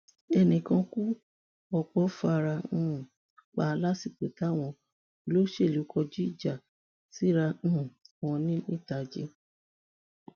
ẹnì kan kú ọ̀pọ̀ fara um pa lásìkò táwọn olóṣèlú kọjú ìjà síra um wọn nìtajì